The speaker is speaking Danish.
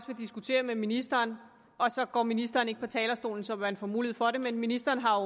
diskutere med ministeren og så går ministeren ikke på talerstolen så man får mulighed for det men ministeren har